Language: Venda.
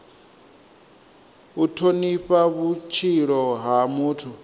u thonifha vhutshilo ha muthu